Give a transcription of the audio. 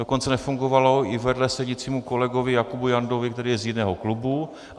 Dokonce nefungovalo i vedle sedícímu kolegovi Jakubu Jandovi, který je z jiného klubu.